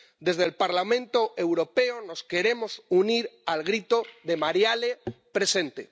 Desde el Parlamento Europeo nos queremos unir al grito de ¡Marielle presente!.